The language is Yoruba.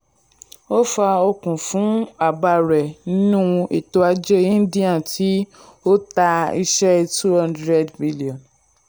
ó fa okun fún àbá rẹ̀ nínú ètò ajé india tí ó ta iṣẹ́ $200bn.